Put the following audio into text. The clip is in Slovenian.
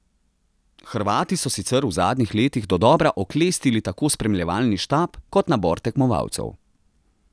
Hrvati so sicer v zadnjih letih dodobra oklestili tako spremljevalni štab kot nabor tekmovalcev.